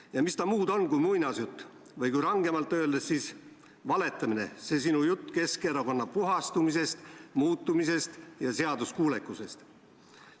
Ja mis ta muud on kui muinasjutt või kui rangemalt öelda, siis valetamine, see sinu jutt Keskerakonna puhastumisest, muutumisest ja seaduskuulekusest.